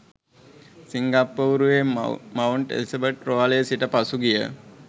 සිංගප්පූරුවේ Mount Elizabeth රෝහලේ සිට පසුගිය